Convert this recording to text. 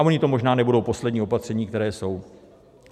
A ona to možná nebudou poslední opatření, která jsou.